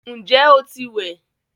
Ǹjẹ́ o ti wẹ̀?